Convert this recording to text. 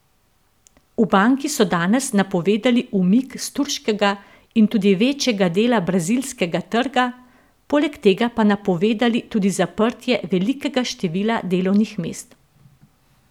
V banki so danes napovedali umik s turškega in tudi večjega dela brazilskega trga, poleg tega pa napovedali tudi zaprtje velikega števila delovnih mest.